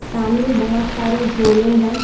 सामने बोहोत सारे झोले हैं।